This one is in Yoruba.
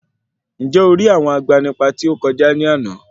Ǹjẹ̀ o rí àwọn agbanipa tí ó kọjá ní àná?